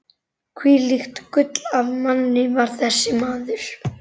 Hvílíkt gull af manni var þessi maður!